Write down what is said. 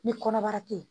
Ni kɔnɔbara tɛ yen